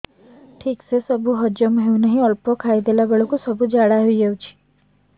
ଠିକସେ ସବୁ ହଜମ ହଉନାହିଁ ଅଳ୍ପ ଖାଇ ଦେଲା ବେଳ କୁ ଝାଡା ହେଇଯାଉଛି